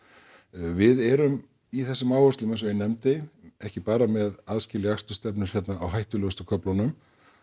við erum í þessum áherslum eins og ég nefndi ekki bara með aðskilja akstursstefnur hér á hættulegustu köflunum